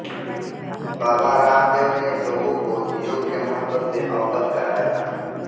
बाबा रामदेव ने लोगों को योग के महत्व से अवगत कराया